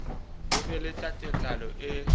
ho be le tatelano e